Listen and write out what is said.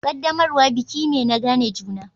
Ƙaddamarwa biki me na gane juna.